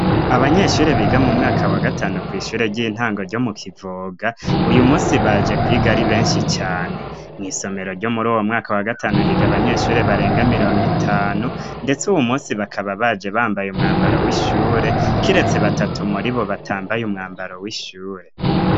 Abanyeshure biga mu mwaka wa gatanu ku ishure ry'intango ryo mu kivoga, uyu munsi baje kwiga ari benshi cane, mw’isomero ryo muri owo mwaka wa gatanu higa abanyeshure barenga mirongo itanu ndetse uwu munsi bakaba baje bambaye umwambaro w'ishure kiretse batatu muri bo batambaye umwambaro w'ishure.